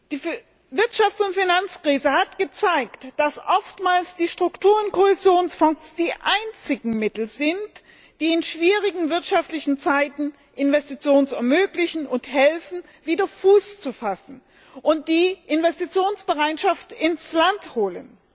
Die Wirtschafts und Finanzkrise hat gezeigt, dass oftmals die Struktur und Kohäsionsfonds die einzigen Mittel sind, die in schwierigen wirtschaftliche Zeiten Investitionen ermöglichen und helfen, wieder Fuß zu fassen, und die Investitionsbereitschaft ins Land holen.